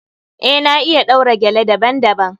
Eh, na iya ɗaura gele daban- daban.